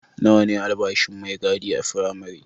Nawa ne albashin mai gadi a firamare?